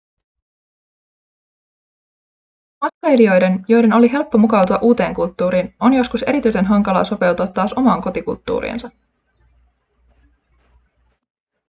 matkailijoiden joiden oli helppo mukautua uuteen kulttuuriin on joskus erityisen hankalaa sopeutua taas omaan kotikulttuuriinsa